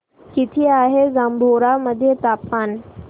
किती आहे जांभोरा मध्ये तापमान